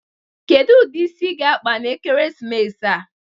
Kedu ụdị isi ị ga-akpa n'ekeresimesi a?